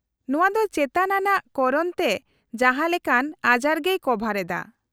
-ᱱᱚᱶᱟ ᱫᱚ ᱪᱮᱛᱟᱱ ᱟᱱᱟᱜ ᱠᱚᱨᱚᱱ ᱛᱮ ᱡᱟᱦᱟᱸ ᱞᱮᱠᱟᱱ ᱟᱡᱟᱨᱜᱮᱭ ᱠᱚᱵᱷᱟᱨ ᱮᱫᱟ ᱾